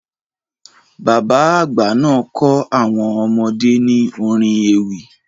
Bàbá àgbà náà kọ́ àwọn ọmọdé ní orin ewì.